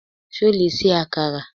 Ṣo lè ṣe àkàrà?